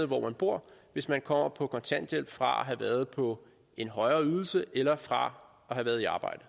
hvor man bor hvis man kommer på kontanthjælp fra at have været på en højere ydelse eller fra at have været i arbejde